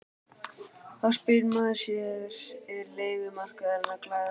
Þá spyr maður sig er leigumarkaðurinn að glæðast?